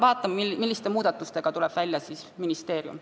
Vaatame, milliste muudatustega tuleb välja ministeerium.